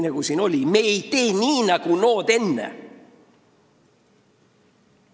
Nagu siin oli: me ei tee nii nagu nood enne!